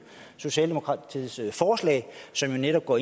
socialdemokratiets forslag som jo netop går